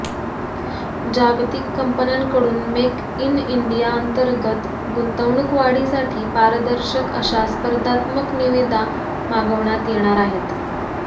जागतिक कंपन्यांकडून make in इंडियाअंतर्गत गुंतवणूक वाढीसाठी पारदर्शक अशा स्पर्धात्मक निविदा मागविण्यात येणार आहे